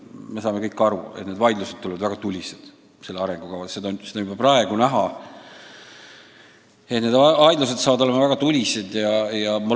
Me saame kõik aru, et vaidlused selle arengukava arutelul tulevad väga tulised, seda on juba praegu näha.